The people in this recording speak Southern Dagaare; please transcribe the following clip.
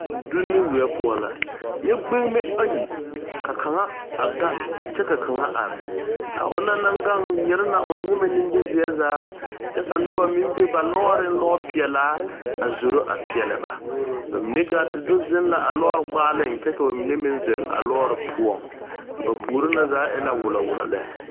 Donne weɛ poɔ la, nyɛ gbenebe ayi ka kaŋa a gaŋ kyɛ ka kaŋa a are,a ona naŋ gaŋ nyire la o nyɛmɛ nimizeɛ zaa kyɛ ka noba meŋ be ba lɔɔreŋ lɔɔ pɛɛla a zoro a peɛlɛ ba mine gaate do zeŋ la a lɔɔre gbaaleŋ kyɛ ka ba mine meŋ zeŋ a lɔɔre poɔ ba puori na za e la wullɔ wullɔ lɛ.